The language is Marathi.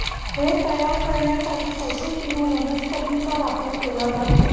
हे तयार करण्यासाठी पशू किंवा वनस्पतींचा वापर केला जातो